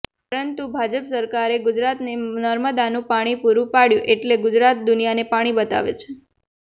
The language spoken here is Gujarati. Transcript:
પરંતુ ભાજપ સરકારે ગુજરાતને નર્મદાનું પાણી પૂરૂ પાડ્યું એટલે ગુજરાત દુનિયાને પાણી બતાવે છે